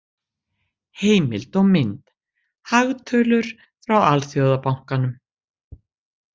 Heimild og mynd: Hagtölur frá Alþjóðabankanum.